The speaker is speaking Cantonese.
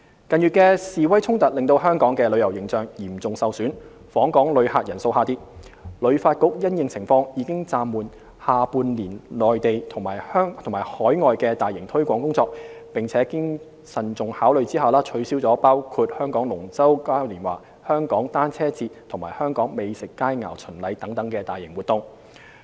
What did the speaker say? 近月的示威衝突令香港的旅遊形象嚴重受損，訪港旅客人數下跌，旅發局因應情況，已暫緩下半年內地及海外的大型推廣工作，並經慎重考慮下取消了包括香港龍舟嘉年華、香港單車節及香港美酒佳餚巡禮等大型活動。